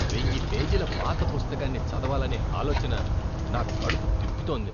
వెయ్యి పేజీల పాత పుస్తకాన్ని చదవాలనే ఆలోచన నా కడుపు తిప్పుతోంది.